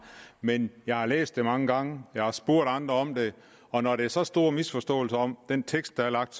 men jeg har læst det mange gange jeg har spurgt andre om det og når der er så store misforståelser om den tekst der er lagt